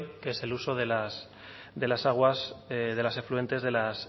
que es el uso de las aguas de las afluentes de la